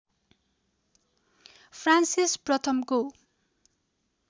Francis प्रथमको